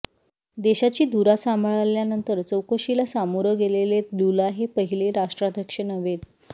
देशाची धुरा सांभाळल्यानंतर चौकशीला सामोरं गेलेले लुला हे पहिले राष्ट्राध्यक्ष नव्हेत